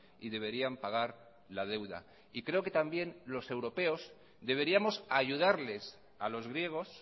y deberían pagar la deuda y creo que también los europeos deberíamos ayudarles a los griegos